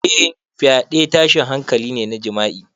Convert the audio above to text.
Eh, fyaɗe tashin hankali ne na jima'i.